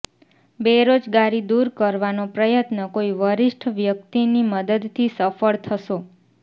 બેરોજગારી દૂર કરવાનો પ્રયત્ન કોઈ વરિષ્ઠ વ્યક્તિની મદદથી સફળ થશો